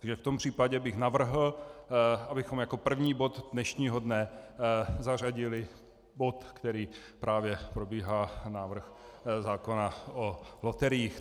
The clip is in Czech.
Takže v tom případě bych navrhl, abychom jako první bod dnešního dne zařadili bod, který právě probíhá, návrh zákona o loteriích.